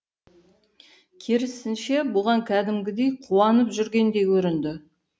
керісінше бұған кәдімгідей қуанып жүргендей көрінді